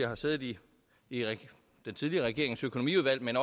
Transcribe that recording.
har siddet i den tidligere regerings økonomiudvalg men